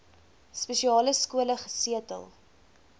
spesiale skole gesetel